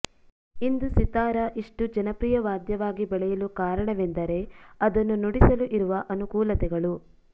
ಇಂದು ಸಿತಾರ ಇಷ್ಟು ಜನಪ್ರಿಯ ವಾದ್ಯವಾಗಿ ಬೆಳೆಯಲು ಕಾರಣವೆಂದರೆ ಅದನ್ನು ನುಡಿಸಲು ಇರುವ ಅನುಕೂಲತೆಗಳು